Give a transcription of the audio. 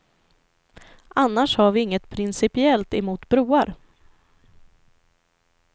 Annars har vi inget principiellt emot broar.